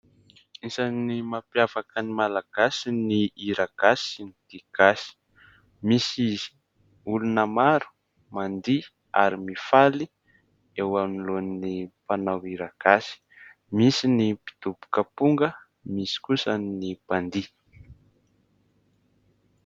Isan'ny mampiavaka ny Malagasy ny hira gasy sy ny dihy gasy. Misy olona maro mandihy ary mifaly eo anoloan'ny mpanao hira gasy : misy ny mpidoboka aponga, misy kosa ny mpandihy.